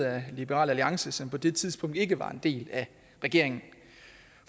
af liberal alliance som på det tidspunkt ikke var en del af regeringen